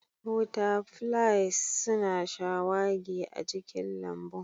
Butterflies suna shawagi a cikin lambun